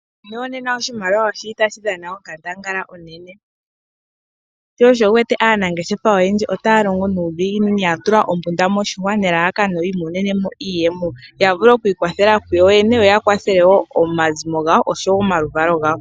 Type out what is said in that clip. Muuyuni wonena oshimaliwa oshi li tashi dhana onkandangala, sho osho wu wete aanangeshefa oyendji otaya longo nuudhiginini ya tula ombunda moshihwa nelalakano yi imonene mo iiyemo ya vule oku ikwathela kuyoyene yo ya kwathele wo omaluvalo gawo.